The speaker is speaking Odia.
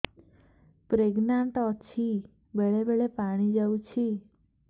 ପ୍ରେଗନାଂଟ ଅଛି ବେଳେ ବେଳେ ପାଣି ଯାଉଛି